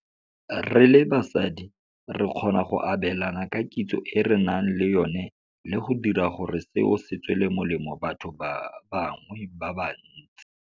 "Re le basadi re kgona go abelana ka kitso e re nang le yona le go dira gore seo se tswele molemo batho ba bangwe ba bantsi."